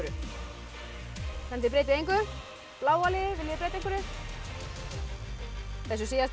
þið breytið engu bláa liðið viljið þið breyta einhverju þessu síðasta